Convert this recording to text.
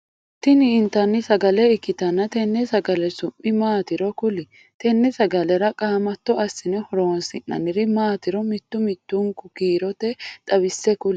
Tinni intanni sagale ikitanna tenne sagale su'mi maatiro kuli? Tenne sagalera qaamatto asinne horoonsi'nonniri maatiro mitu mitunku kiirte xawise kuli?